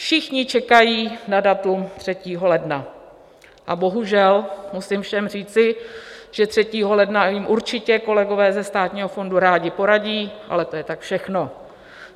Všichni čekají na datum 3. ledna, a bohužel, musím všem říci, že 3. ledna jim určitě kolegové ze Státního fondu rádi poradí, ale to je tak všechno.